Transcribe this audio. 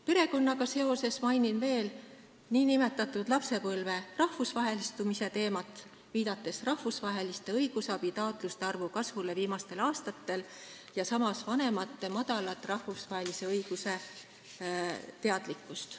Perekonnaga seoses mainin veel nn lapsepõlve rahvusvahelistumise teemat, viidates rahvusvaheliste õigusabitaotluste arvu kasvule viimastel aastatel, ja samas vanemate vähest teadlikkust rahvusvahelisest õigusest.